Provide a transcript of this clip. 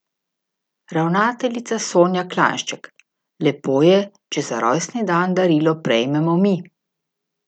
Ravnateljica Sonja Klanjšček: 'Lepo je, če za rojstni dan darilo prejmemo mi.